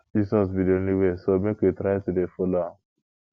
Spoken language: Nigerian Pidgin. jesus be the only way so make we try to dey follow am